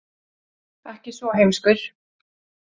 Ekki svo heimskur.